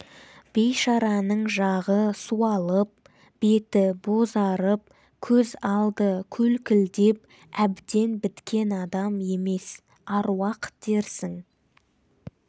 бейшараның жағы суалып беті бозарып көз алды көлкілдеп әбден біткен адам емес аруақ дерсің